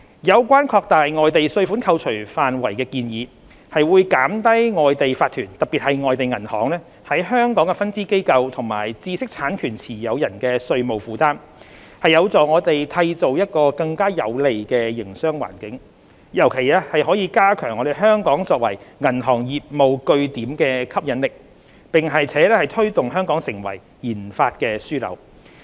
有關擴大外地稅款扣除範圍的建議，會減低外地法團的香港分支機構和知識產權持有人的稅務負擔，有助我們締造更有利的營商環境，尤其可加強香港作為銀行業務據點的吸引力，並推動本港成為研發樞紐。